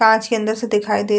कांच के अंदर से दिखाई दे --